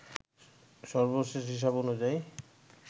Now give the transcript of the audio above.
সর্বশেষ হিসেব অনুযায়ী